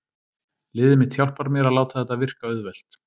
Liðið mitt hjálpar mér að láta þetta virka auðvelt.